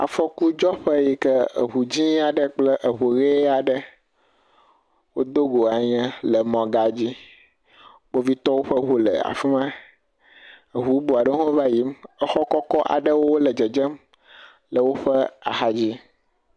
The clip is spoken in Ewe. Afɔkudzɔƒe aɖe yi ke eŋu dzẽe aɖe kple eŋu ʋee aɖe wodogo anya le mɔgã dzi. Kpovitɔwo ƒe ŋu le afi ma. Ŋu bubu aɖewo hã va yiyim. Exɔ kɔkɔ aɖewo hã le dzedzem le woƒe axadzi.